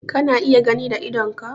Kana iya gani da idonka?